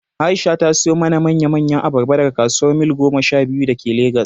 Aisha ta siyo mana manya manyan abarba daga kasuwar Mil goma sha biyu da ke Legas